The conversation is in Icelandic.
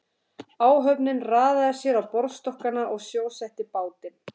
Áhöfnin raðaði sér á borðstokkana og sjósetti bátinn.